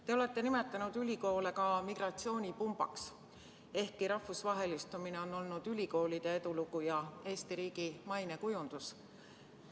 Te olete nimetanud ülikoole ka migratsioonipumbaks, ehkki rahvusvahelistumine on olnud ülikoolide edulugu ja Eesti riigi mainekujundus.